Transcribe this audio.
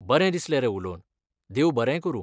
बरें दिसलें रे उलोवन! देव बरें करूं!